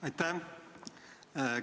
Aitäh!